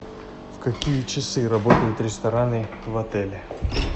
в какие часы работают рестораны в отеле